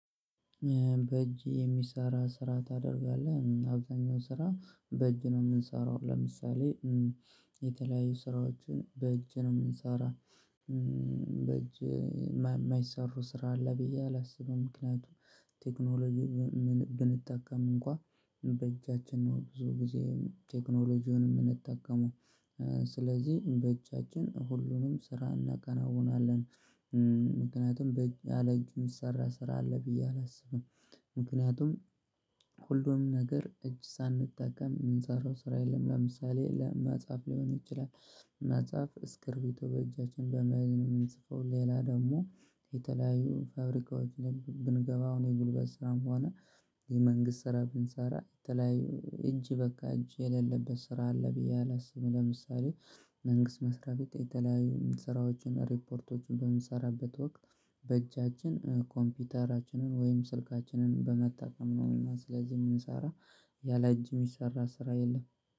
በእጅ የሚሰራ ስራ ታደርጋለህ አብዛኛው ስራ በእጅ ነው ምንሰራው ለምሳሌ የተለያዩ ስራዎችን በእጅ ነው ምንሰራ። በእጅ የማይሰሩ ስራ አለ ብዬ አላስብም ምክንያቱም ቴክኖሎጂ ብንጠቀም እንኳን በእጃችን ነው ብዙ ጊዜ ቴክኖሎጂውን ምንጠቀመው። ስለዚህ በእጃችን ሁሉንም ስራ እናከናውናለን። ምክንያቱም በእጅ ያለ እጅ ሚሰራ ስራ አለ ብዬ አላስብም። ምክንያቱም ሁሉም ነገር እጅ ሳንጠቀም ምንሰራው ስራ የለም ለምሳሌ ለመጻፍ ሊሆን ይችላል። መጻፍ እስክርቢቶ በእጃችን በመያዝ ነው ምንጽፈው። ሌላ ደግሞ ፋብሪካዎች ላይ ብንገባ አሁን የጉልበት ስራም ሆነ የመንግስት ስራ ብንሰራ የተለያዩ እጅ በቃ እጅ የሌለበት ስራ አለ ብዬ አላስብም። ለምሳሌ መንግስት መስሪያ ቤት የተለያዩ ስራዎችን ሪፖርቶችን በምሰራበት ወቅት በእጃችን ኮምፒውተራችንን ወይም ስልካችንን በመጠቀም ነውና ስለዚህ የምንሰራ። ያለ እጅ ሚሰራ ስራ የለም